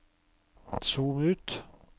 zoom ut